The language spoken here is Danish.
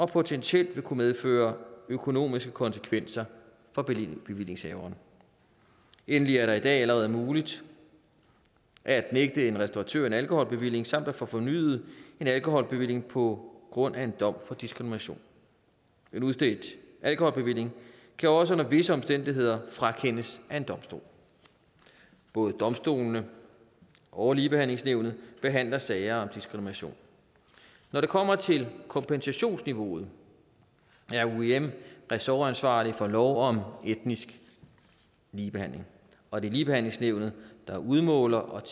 potentielt kunne medføre økonomiske konsekvenser for bevillingshaverne endelig er det i dag allerede muligt at nægte en restauratør en alkoholbevilling samt at få fornyet en alkoholbevilling på grund af en dom for diskrimination en udstedt alkoholbevilling kan også under visse omstændigheder frakendes af en domstol både domstolene og ligebehandlingsnævnet behandler sager om diskrimination når det kommer til kompensationsniveauet er uim ressortansvarlig for lov om etnisk ligebehandling og det er ligebehandlingsnævnet der udmåler og